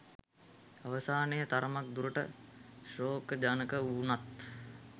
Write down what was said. අවසානය තරමක් දුරට ශෝකජනක වුනත්